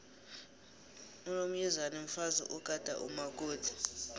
unomyezane mfazi ogada umakoti